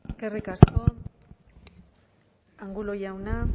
eskerrik asko angulo jauna